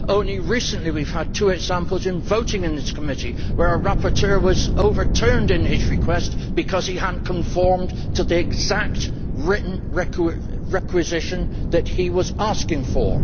Only recently we have had two examples in voting in this committee where a rapporteur was overturned in his request because he had not conformed to the exact written requisition that he was asking for.